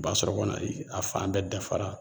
U b'a sɔrɔ kɔni a fan bɛɛ dafara